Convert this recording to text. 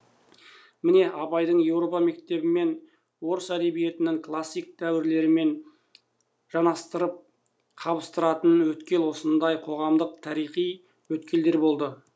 міне абайды европа мектебімен орыс әдебиетінің классик дәуірлерімен жанастырып қабыстыратын өткел осындай қоғамдық тарихи өткелдер болады